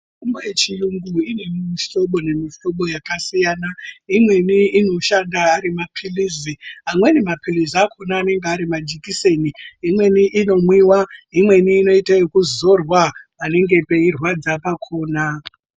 Mitombo yechiyungu ine mihlobo nemihlobo yakasiyana. Imweni inoshanda ari mapilizi, amweni mapilizi akona anenge ari majikiseni. Imweni inomwiwa, imweni inoite ekuzorwa panenge peirwadza pakona.